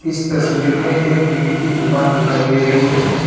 इस तस्वीर मे एक विग की दूकान दिखाई दे रही हे.